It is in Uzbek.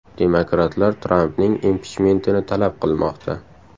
Demokratlar Trampning impichmentini talab qilmoqda.